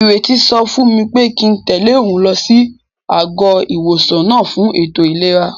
Ìrètí sọ fún mi pé kíi n tẹ̀lé òun lọ sí àgọ́-ìwòsàn náà fún ètò ìlera